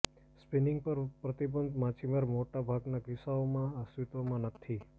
spinning પર પ્રતિબંધ માછીમારી મોટા ભાગના કિસ્સાઓમાં અસ્તિત્વમાં નથી